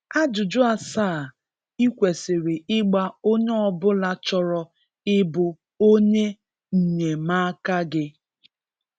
Ajụjụ asaa ịkwesiri ịgba onye ọbụla chọrọ ịbụ onye nyemaaka gị